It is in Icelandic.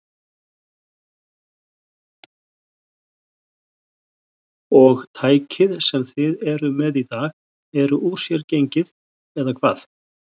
Og tækið sem þið eruð með í dag eru úr sér gengið, eða hvað?